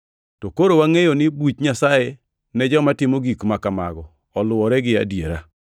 To koro wangʼeyo ni buch Nyasaye ne joma timo gik ma kamago oluwore gi adiera.